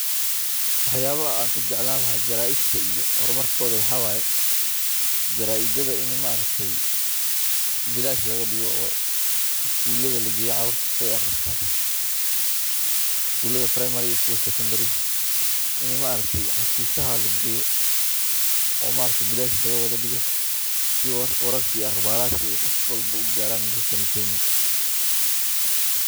Waxyalaha an ka jeclan laha jaraidka iyo hormarkodha waxaa waye ini ma aragte bilash laga digo oo isguladha lageyo si carurta ee u aqristan, isguladha primary ga iyo secondary ga ini ma aragte cafisaha lageyo oo maaragte bilash laga wadha digo si wararka iyo aqbaraha ee ugaran dalalkani kenya.